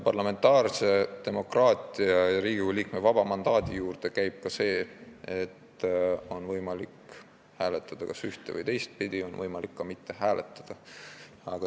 Parlamentaarse demokraatia ja Riigikogu liikme vaba mandaadi juurde käib ka see, et on võimalik hääletada kas ühte- või teistpidi ja on võimalik ka mitte hääletada.